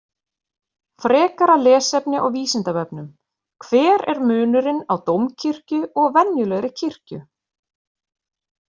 Frekara lesefni á Vísindavefnum: Hver er munurinn á dómkirkju og venjulegri kirkju?